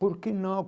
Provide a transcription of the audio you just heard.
Por que não?